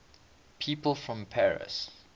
people from paris